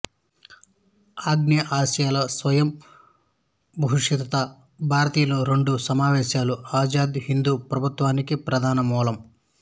ఆగ్నేయాసియాలో స్వయం బహిష్కృత భారతీయుల రెండు సమావేశాలు ఆజాద్ హింద్ ప్రభుత్వానికి ప్రధాన మూలం